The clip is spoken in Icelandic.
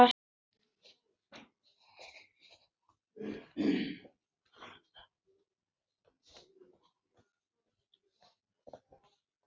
Við deyjum smám saman.